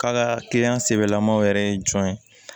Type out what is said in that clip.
K'a ka kiliyan sɛbɛlamaw yɛrɛ ye jɔn ye